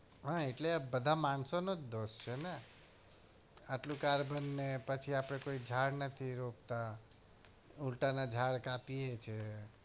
હા એટલે આ બધા માણસોનો જ દોષ છે ને આટલું કાર્બન ને પછી આપડે ઝાડ નથી રોપતા ઉલટાના ઝાડ કાપીએ છીએ